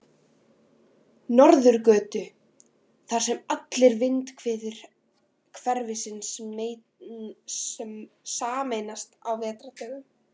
Norðurgötu, þar sem allar vindhviður hverfisins sameinast á vetrardögum.